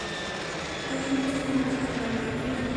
Gaheen hojii namoota kana lamaanii maalidha?